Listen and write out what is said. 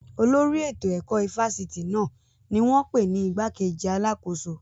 Olórí ètò ẹ̀kọ́ ifásitì náà ni wọ́n pè ní igbákejì alákóso